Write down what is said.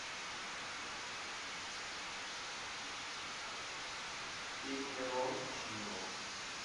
пеперончино